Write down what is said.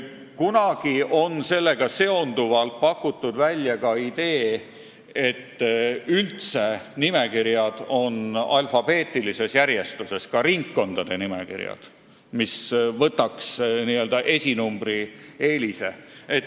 Kunagi on sellega seonduvalt pakutud välja ka idee, et nimekirjad oleks üldse alfabeetilises järjestuses, ka ringkondade nimekirjad, mis kaotaks n-ö esinumbri eelise.